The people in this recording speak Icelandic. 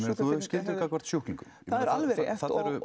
þú hefur skyldu gagnvart sjúklingum já það er alveg rétt